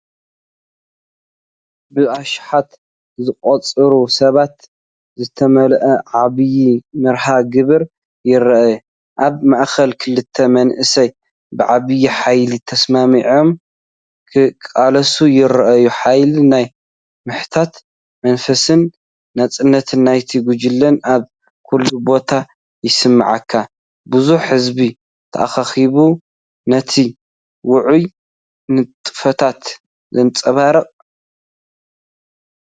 ብኣሽሓት ዝቑጸሩ ሰባት ዝተመልአ ዓብይ መርሃ ግብሪ ይርአ። ኣብ ማእከል ክልተ መንእሰያት ብዓቢ ሓይሊ ተሰማሚዖም ክቃለሱ ይረኣዩ። ሓይሊ ናይ ምሕታት መንፈስን ናጽነት ናይቲ ጉጅለን ኣብ ኩሉ ቦታ ይስመዓካ፤ ብዙሕ ህዝቢ ተኣኪቡ ነቲ ውዑይ ንጥፈታት የንጸባርቕ።